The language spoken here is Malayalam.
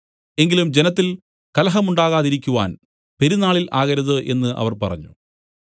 എങ്കിലും ജനത്തിൽ കലഹമുണ്ടാകാതിരിക്കുവാൻ പെരുന്നാളിൽ ആകരുത് എന്നു അവർ പറഞ്ഞു